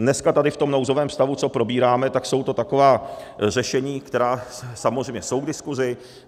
Dneska tady v tom nouzovém stavu, co probíráme, tak jsou to taková řešení, která samozřejmě jsou k diskuzi.